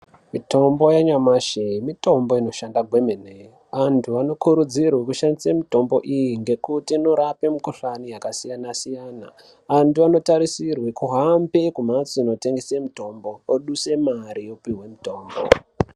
Mitombo yanyamashi mitombo inoshanda kwemene antu anokurudzirwa kushandisa mitombo iyi ngekuti inorapa mikuhlani yakasiyana-siyana. Antu anotarisirwa kuhambe kumbatso inotengesa mitombo oduse mare opiwa mutombo.